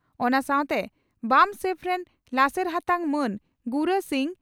ᱚᱱᱟ ᱥᱟᱣᱛᱮ ᱵᱟᱢᱥᱮᱯᱷ ᱨᱤᱱ ᱞᱟᱥᱮᱨ ᱦᱟᱛᱟᱝ ᱢᱟᱱ ᱜᱩᱨᱟ ᱥᱤᱝ